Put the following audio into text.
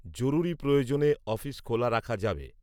জরুরি প্রয়ােজনে অফিস খােলা রাখা যাবে